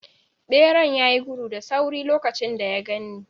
Beran ya yi gudu da sauri lokacin da ya gan ni.